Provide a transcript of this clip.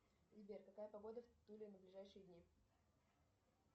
сбер какая погода в туле на ближайшие дни